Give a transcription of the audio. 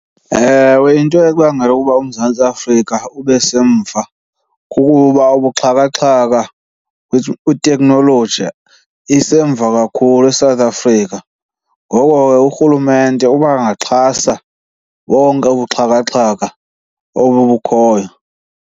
Ewe, into ebangela ukuba uMzantsi Afrika ube semva kukuba ubuxhakaxhaka kwiteknoloji isemva kakhulu eSouth Africa. Ngoko ke urhulumente uba angaxhasa bonke ubuxhakaxhaka obu bukhoyo.